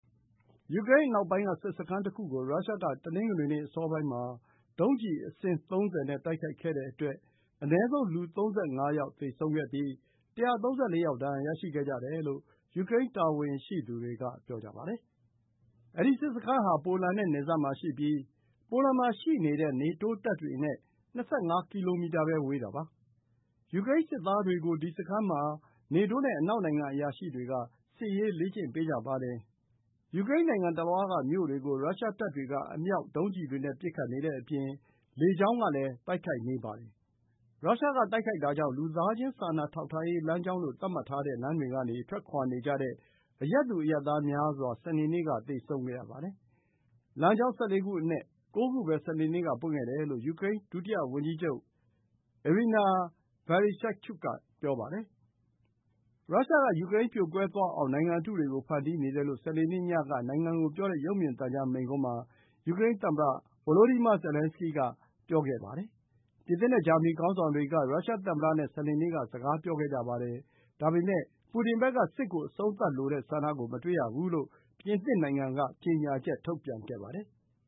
ယူကရိန်းအနောက်ပိုင်းက စစ်စခန်းတခုကို ရုရှားက တနင်္ဂနွေနေ့ အစောပိုင်းမှာ ဒုံးကျည်အစင်း ၃၀ နဲ့ တိုက်ခိုက်ခဲ့တဲ့အတွက် အနည်းဆုံး လူ ၃၅ ယောက် သေဆုံးပြီး ၁၃၄ ယောက် ဒဏ်ရာရှိခဲ့ကြတယ်လို့ ယူကရိန်း တာဝန်ရှိသူတွေက ပြောပါတယ်။ အဲဒီစစ်စခန်းဟာ ပိုလန်နဲ့ နယ်စပ်မှာရှိပြီး ပိုလန်မှာရှိတဲ့ နေတိုးတပ်တွေနဲ့ ၂၅ ကီလိုမီတာပဲ ဝေးတာပါ။ ယူကရိန်းစစ်သားတွေကို ဒီစခန်းမှာ နေတိုးနဲ့ အနောက်နိုင်ငံ အရာရှိတွေက စစ်ရေး လေ့ကျင့်ပေးကြပါတယ်။ ယူကရိန်းနိုင်ငံတလွှားက မြို့တွေကို ရုရှားတပ်တွေက အမြောက် ဒုံးကျည်တွေနဲ့ ပစ်ခတ်နေတဲ့အပြင် လေကြောင်းကလည်း တိုက်ခိုက်နေပါတယ်။ ရုရှားက တိုက်ခိုက်တာကြောင့် လူသားချင်း စာနာထောက်ထားရေး လမ်းကြောင်းလို့ သတ်မှတ်ထားတဲ့ လမ်းတွေကနေ ထွက်ခွါနေကြတဲ့ အရပ်သူ အရပ်သား များစွာ စနေနေ့က သေဆုံးခဲ့ရပါတယ်။ လမ်းကြောင်း ၁၄ ခုအနက် ၉ ခုပဲ စနေနေ့က ပွင့်ခဲ့တယ်လို့ ယူကရိန်း ဒုတိယဝန်ကြီးချုပ် Iryna Vereshchuk က ပြောပါတယ်။ ရုရှားက ယူကရိန်း ပြိုကွဲသွားအောင် နိုင်ငံအတုတွေကို ဖန်တီးနေတယ်လို့ စနေနေ့ညက နိုင်ငံကိုပြောတဲ့ ရုပ်မြင်သံကြား မိန့်ခွန်းမှာ ယူကရိန်းသမ္မတ Volodymyr Zelenskiy က ပြောပါတယ်။ ပြင်သစ်နဲ့ ဂျာမနီ ခေါင်းဆောင်တွေက ရုရှားသမ္မတနဲ့ စနေနေ့က စကားပြောခဲ့ကြပါတယ်။ ဒါပေမယ့် ပူတင်ဘက်က စစ်ကို အဆုံးသတ်လိုတဲ့ ဆန္ဒကို မတွေ့ရဘူးလို့ ပြင်သစ်နိုင်ငံက ကြေညာချက် ထုတ်ပြန်ခဲ့ပါတယ်။